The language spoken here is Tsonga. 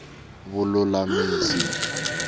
vululamisi